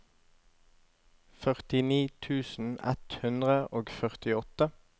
førtini tusen ett hundre og førtiåtte